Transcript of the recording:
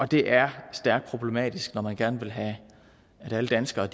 det er stærkt problematisk når man gerne vil have at alle danskere